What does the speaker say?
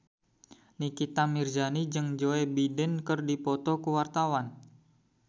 Nikita Mirzani jeung Joe Biden keur dipoto ku wartawan